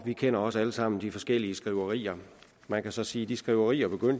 vi kender også alle sammen de forskellige skriverier man kan så sige at de skriverier